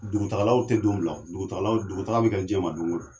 Dugutagalaw te don bila o dugutagalaw dugutaga be kɛ jɛma don kon don